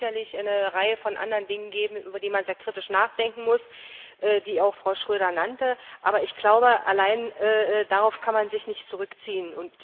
Es mag sicherlich eine Reihe von anderen Dingen geben, über die man sehr kritisch nachdenken muss, die Frau Schroedter auch nannte, aber ich glaube, allein darauf kann man sich nicht zurückziehen.